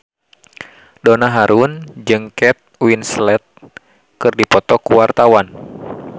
Donna Harun jeung Kate Winslet keur dipoto ku wartawan